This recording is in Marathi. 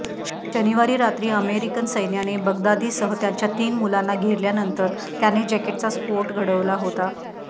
शनिवारी रात्री अमेरिकन सैन्याने बगदादीसह त्याच्या तीन मुलांना घेरल्यानंतर त्याने जॅकेटचा स्फोट घडवला होता